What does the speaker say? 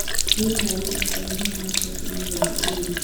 rĩera rĩgukorũo rĩhana atia Kiumia gia Cukuru